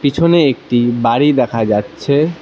পিছনে একটি বাড়ি দেখা যাচ্ছে।